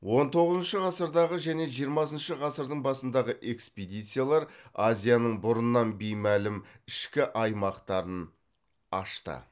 он тоғызыншы ғасырдағы және жиырмасыншы ғасырдың басындағы экспедициялар азияның бұрыннан беймәлім ішкі аймақтарын ашты